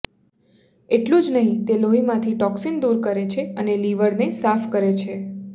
એટલું જ નહિ તે લોહીમાંથી ટોક્સીન દુર કરે છે અને લીવરને સાફ કરે છે